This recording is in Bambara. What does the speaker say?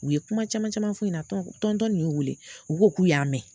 U ye kuma caman caman f'u ɲɛna nin y'u weele u ko k'u y'a mɛn.